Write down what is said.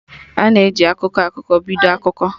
Ana e ji "akụkọ akụkọ" biko akụkọ